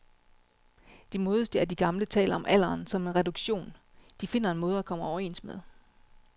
De modigste af de gamle taler om alderen som en reduktion, de finder en måde at komme overens med.